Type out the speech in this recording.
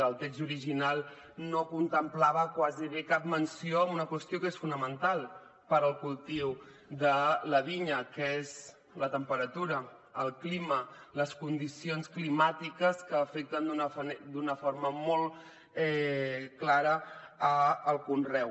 el text original no contemplava gairebé cap menció a una qüestió que és fonamental per al cultiu de la vinya que és la temperatura el clima les condicions climàtiques que afecten d’una forma molt clara el conreu